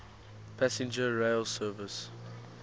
passenger rail service